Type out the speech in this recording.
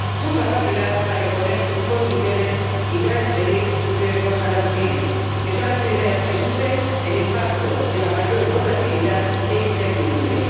su capacidad para imponer sus condiciones y transferir sus riesgos a las pymes, que son las primeras que sufren el impacto de la mayor volatilidad e incertidumbre.